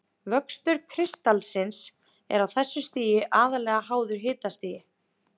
Vöxtur kristallsins er á þessu stigi aðallega háður hitastigi.